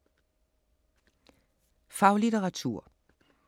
Faglitteratur